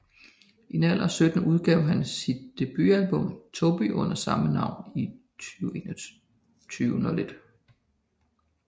I en alder af 17 år udgav han sit debutalbum Toby under samme navn i 2001